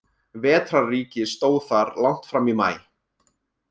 Vetrarríki stóð þar langt fram í maí.